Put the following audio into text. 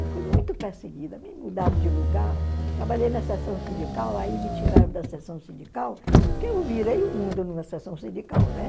Eu fui muito perseguida, me mudaram de lugar, trabalhei na sessão sindical, aí me tiraram da sessão sindical, porque eu virei o mundo numa sessão sindical, né?